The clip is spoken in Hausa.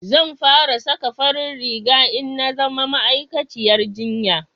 zan fara saka farin riga in na zama ma'aikaciyar jinya